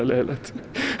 leiðinlegt